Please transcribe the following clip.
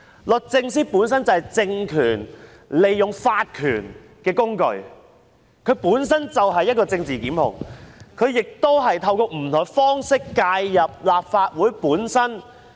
律政司本身就是政權利用法權的工具，它本身就是政治檢控的工具，亦透過不同方式介入立法會的運作。